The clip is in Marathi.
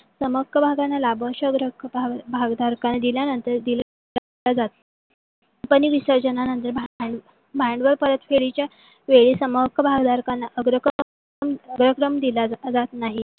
सम हक्क भागांना लाभांश अग्र हक्क भागधरकाणे दिल्या नंतर company विसर्जन नंतर भांडवल परत फेडीच्या वेळी सम हक्क भागधरकांना अग्रक्रम दिला जात नाही.